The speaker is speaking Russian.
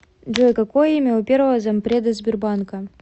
джой какое имя у первого зампреда сбербанка